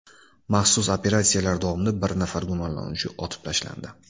Maxsus operatsiyalar davomida bir nafar gumonlanuvchi otib tashlandi.